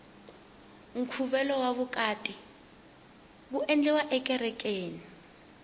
nkhuvo wa vukati wu endleriwa ekerekeni